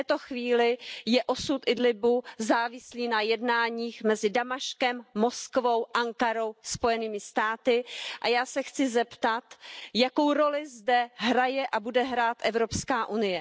V této chvíli je osud Idlíbu závislý na jednáních mezi Damaškem, Moskvou, Ankarou a Spojenými státy a já se chci zeptat Jakou roli zde hraje a bude hrát EU?